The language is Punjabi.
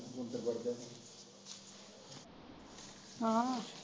ਹਾਂ?